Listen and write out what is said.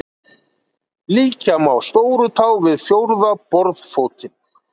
líkja má stórutá við fjórða borðfótinn